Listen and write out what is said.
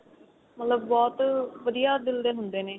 ਮਤਲਬ ਬਹੁਤ ਵਧੀਆ ਦਿਲ ਦੇ ਹੁੰਦੇ ਨੇ